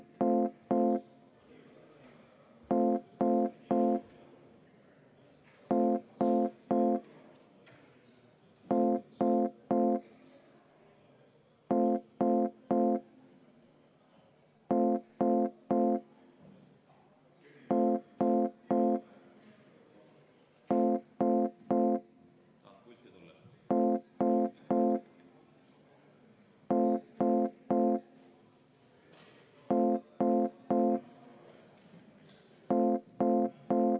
Ma palun Eesti Konservatiivse Rahvaerakonna fraktsiooni nimel seda muudatusettepanekut hääletada ja enne seda palun kümme minutit vaheaega.